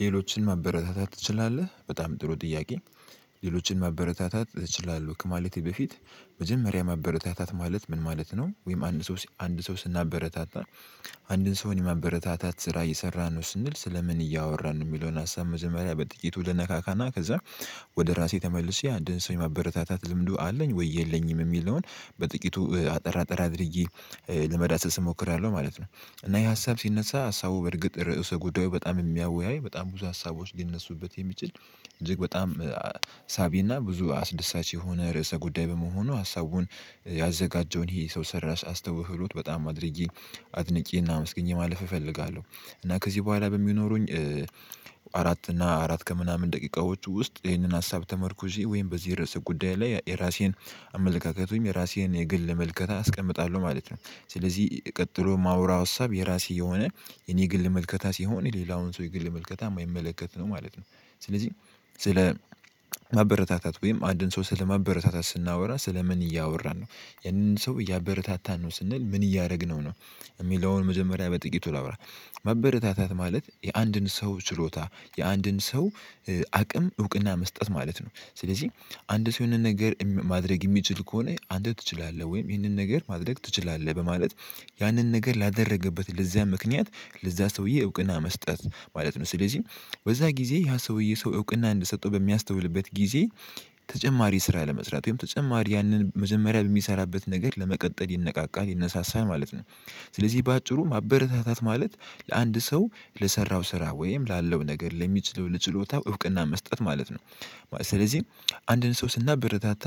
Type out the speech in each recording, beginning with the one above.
ሌሎችን ማበረታታት ትችላለህ በጣም ጥሩ ጥያቄ? ሌሎችን ማበረታታት እችላለህ ከማለቴ በፊት መጀመሪያ ማበረታታት ማለት ምን ማለት ነው? ወይም አንድ ሰው አንድ ሰው ስናበረታታ አንድን ሰውን የማበረታታት ስራ እየሰራን ስንል ስለ ምን እያወራን የሚለውን ሀሳብ መጀመሪያ በጥቂቱ ልነካካና ከዛ ወደ ራሴ ተመልሼ አንድ ሰው ማበረታታት ልምዱ አለኝ ወይ የለኝም የሚል ነው። በጥቂቱ አጠር አጠር አድርጌ ለመዳሰስ እሞክራለሁ ማለት ነው። እና ይሄ ሀሳብ ሲነሳ ሀሳቡ በእርግጥ ርዕሰ ጉዳዩ በጣም የሚያወያይ በጣም ብዙ ሀሳቦች ሊነሱበት የሚችል እጅግ በጣም ሳቢና ብዙ አስደሳች የሆነ ርዕሰ ጉዳይ በመሆኑ ሀሳቡን ያዘጋጀውን ይሄ ሰው ሰራሽ አስተውህሎት በጣም አድርጌ አድንቄ እና አመስግኘ ማለፍ እፈልጋለሁ። እና ከዚህ በኋላ በሚኖሩኝ አራት እና አራት ከምናምን ደቂቃዎች ውስጥ ይሄንን ሀሳብ ተመርኩዤ ወይም በዚህ ርዕሰ ጉዳይ ላይ የራሴን አመለካከቱኝ የራሴን የግል መልከታ አስቀምጣለሁ ማለት ነው። ስለዚህ ቀጥሎ ማውራው እሳብ የራሴ የሆነ የኔ ግል መልከታ ሲሆን የሌላውን ሰው የግል መልከታ የማይመለከት ነው ማለት ነው። ስለዚህ ስለ ማበረታታት ወይም አንድን ሰው ስለማበረታታት ስናወራ ስለ ምን እያወራን ነው? ያንን ሰው እያበረታታን ነው ስንል ምን እያደረግነው ነው? የሚለውን መዘመሪያ በጥቂቱ ላውራ ማበረታታት ማለት የአንድን ሰው ችሎታ የአንድን ሰው አቅም እውቅና መስጠት ማለት ነው። ስለዚህ አንድ ሰው የሆነ ነገር ማድረግ የሚችል ከሆነ አንተ ትችላለህ ወይም ይህንን ነገር ማድረግ ትችላለህ በማለት ያንን ነገር ላደረገበት ለዚያ ምክንያት ለዚያ ሰውዬ እውቅና መስጠት ማለት ነው። ስለዚህ በዛ ጊዜ ያ ሰውዬ ሰው እውቅና እንድትሰጠው በሚያስተውልበት ጊዜ ተጨማሪ ስራ ለመስራት ወይም ተጨማሪ ያንን መዘመሪያ በሚሰራበት ነገር ለመቀጠል ይነቃቃል ይነሳሳል ማለት ነው። ስለዚህ በአጭሩ ማበረታታት ማለት ለአንድ ሰው ለሰራው ስራ ወይም ላለው ነገር ለሚችለው ለጭሎታው እውቅና መስጠት ማለት ነው። ስለዚህ አንድን ሰው ስናበረታታ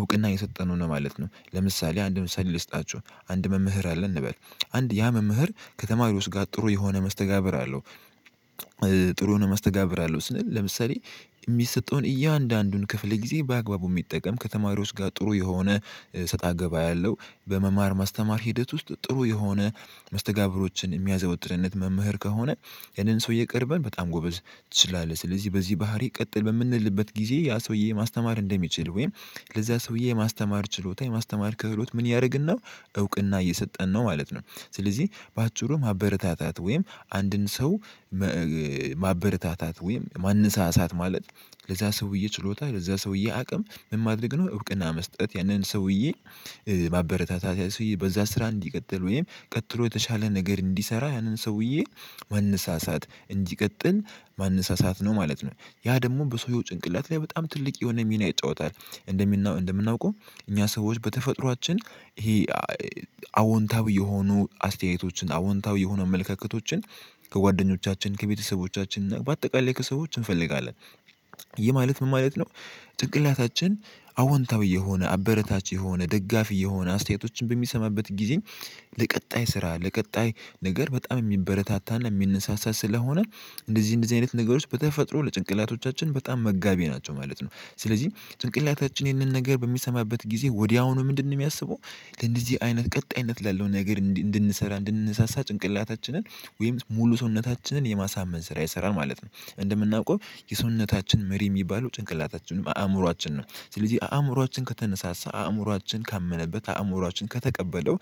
እውቅና የሰጠነው ነው ማለት ነው። ለምሳሌ አንድ ምሳሌ ልስጣችሁ አንድ መምህር አለ እንበል አንድ ያ መምህር ከተማሪው ውስጥ ጋር ጥሩ የሆነ መስተጋብር አለው። ጥሩ መስተጋብር አለው ስል ለምሳሌ የሚሰጠውን እያንዳንዱን ክፍል ጊዜ በአግባቡ የሚጠቀም ከተማው ውስጥ ጋር ጥሩ የሆነ ሰጣ ገባ ያለው በመማር ማስተማር ሂደት ውስጥ ጥሩ የሆነ መስተጋብሮችን የሚያዘወትር መምህር ከሆነ ያንን ሰው እየቀረበን በጣም ጎበዝ ትችላለህ ስለዚህ በዚህ ባህሪ ቀጥል በምንልበት ጊዜ ያ ሰውዬ ማስተማር እንደሚችል ወይም ለዛ ሰውዬ የማስተማር ችሎታ የማስተማር ክህሎት ምን ያደርግን ነው እውቅና እየሰጠን ነው ማለት ነው። ስለዚህ በአጭሩ ማበረታታት ወይም አንድን ሰው ማበረታታት ወይም ማንሳሳት ማለት ለዛ ሰውዬ ችሎታ ለዛ ሰውዬ አቅም ምን ማድረግ ነው እውቅና መስጠት ያንን ሰውዬ ማበረታታት ያለ ሰውዬ በዛ ስራ እንዲቀጥል ወይም ቀጥሎ የተሻለ ነገር እንዲሰራ ያንን ሰውዬ ማንሳሳት እንዲቀጥል ማንሳሳት ነው ማለት ነው። ያ ደግሞ በሰውየው ጭንቅላት ላይ በጣም ትልቅ የሆነ ሚና ይጫወታል። እንደምናውቀው እኛ ሰዎች በተፈጥሮአችን ይሄ አዎንታዊ የሆኑ አስተያየቶችን አዎንታዊ የሆነ መልከክቶችን ከጓደኞቻችን ከቤተሰቦቻችን በአጠቃላይ ከሰዎች እንፈልጋለን። ይሄ ማለት ምን ማለት ነው? ጭንቅላታችን አወንታዊ የሆነ አበረታች የሆነ ደጋፊ የሆነ አስተያየቶችን በሚሰማበት ጊዜ ለቀጣይ ስራ ለቀጣይ ነገር በጣም የሚበረታታ እና የሚንሳሳ ስለሆነ እንደዚህ እንደዚህ አይነት ነገሮች በተፈጥሮ ለጭንቅላቶቻችን በጣም መጋቢ ናቸው ማለት ነው። ስለዚህ ጭንቅላታችን ይህንን ነገር በሚሰማበት ጊዜ ወዲያውኑ ምንድነው የሚያስበው? ለእንደዚህ አይነት ቀጣይነት ላለው ነገር እንድንሰራ እንድንሰሳ ጭንቅላታችንን ወይም ሙሉ ሰውነታችንን የማሳመን ስራ ይሰራል ማለት ነው። እንደምናውቀው የሰውነታችን መሪ የሚባሉ ጭንቅላታችንም አእምሮአችን ነው ስለዚህ አእምሮአችን ከተነሳሳ አእምሮአችን ካመነበት አእምሮአችን ከተቀበለው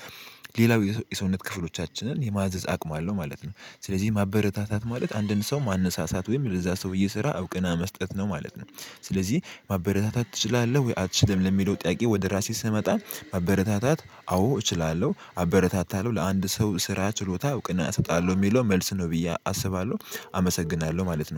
ሌላው የሰውነት ክፍሎቻችንን የማዘዝ አቅም አለው ማለት ነው። ስለዚህ ማበረታታት ማለት አንድን ሰው ማንሳሳት ወይም ለዛ ሰው እየሰራ እውቅና መስጠት ነው ማለት ነው። ስለዚህ ማበረታታት እችላለሁ ወይ አትችልም ለሚለው ጥያቄ ወደ ራሴ ስመጣ ማበረታታት አዎ እችላለሁ አበረታታለሁ ለአንድ ሰው ስራ ችሎታ እውቅና ቅና አሰጣለሁ የሚለው መልስ ነው ብዬ አስባለሁ። አመሰግናለሁ ማለት ነው